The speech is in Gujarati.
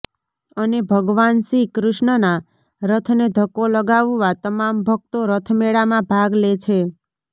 અને ભગવાન શ્રી કૃષ્ણના રથને ધક્કો લગાવવા તમામ ભક્તો રથમેળામાં ભાગ લે છે